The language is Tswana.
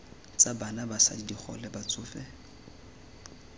tsa bana basadi digole batsofe